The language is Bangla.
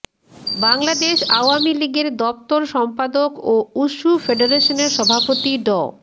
বাংলাদেশ আওয়ামী লীগের দপ্তর সম্পাদক ও উশু ফেডারেশনের সভাপতি ড